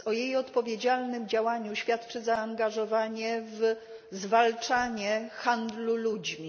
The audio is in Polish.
O jej odpowiedzialnym działaniu świadczy zaangażowanie w zwalczanie handlu ludźmi.